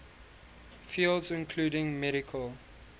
fields including medical